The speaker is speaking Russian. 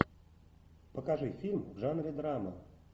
покажи фильм в жанре драма